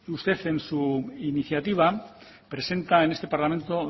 usted en su iniciativa presenta en este parlamento